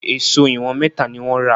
Èṣó ìwọ̀n mẹ́ta ni wọ́n rà